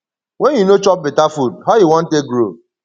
wen you no chop beta food how you wan take grow